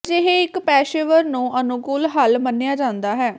ਅਜਿਹੇ ਇੱਕ ਪੇਸ਼ੇਵਰ ਨੂੰ ਅਨੁਕੂਲ ਹੱਲ ਮੰਨਿਆ ਜਾਂਦਾ ਹੈ